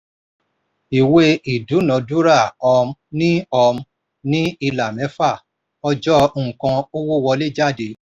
ìwé ìdúnàádúrà um ní um ní ìlà mẹ́fà: ọjọ́ nǹkan owó wọlé/jáde.